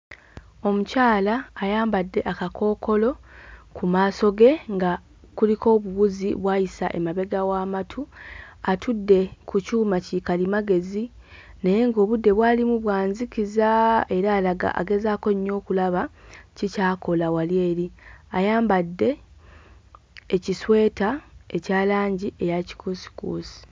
Omukyala ayambadde akakookolo ku maaso ge nga kuliko obuwuzi bw'ayisa emabega w'amatu, atudde ku kyuma ki kalimagezi naye ng'obudde bw'alimu bwa nzikiza era alaga agezaako nnyo okulaba ki ky'akola wali eri. Ayambadde ekisweta ekya langi eya kikuusikuusi.